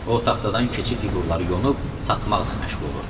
O taxtadan keçi fiqurlarını yonub satmaqla məşğul olurdu.